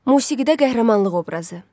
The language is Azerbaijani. Musiqidə qəhrəmanlıq obrazı.